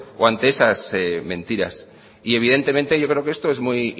o ante esas mentiras evidentemente yo creo que esto es muy